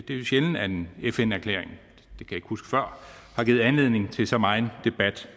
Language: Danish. er jo sjældent at en fn erklæring giver anledning til så meget debat